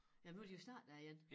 Ja nu de jo startet der igen